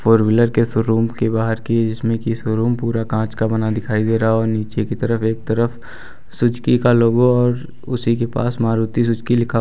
four wheeler के showroom के बाहर की जिसमें कि शोरूम पूरा कांच का बना दिखाई दे रहा और नीचे की तरफ एक तरफ सुजुकी का लोगो और उसी के पास मारुति सुजुकी लिखा हुआ--